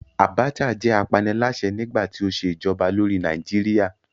Abacha jẹ́ apaniláṣẹ́ nígbàtí ó ṣe ìjọba lórí Nàìjíríà